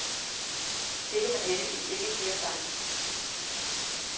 Det kan man heldigvis ikke sige om dig.